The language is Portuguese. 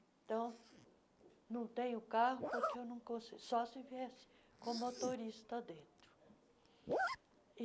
Então, não tenho carro porque eu não con só estive com motorista dentro.